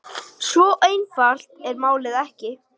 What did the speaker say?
Svo einfalt er málið ekki.